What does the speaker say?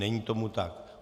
Není tomu tak.